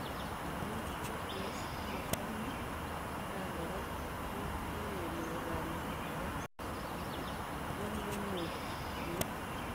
Ngamuu APS komatamii atakaan koraa ,kikenyoor kanyaet agee nememuuch komii.